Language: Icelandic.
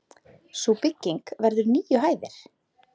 Sú bygging verður níu hæðir.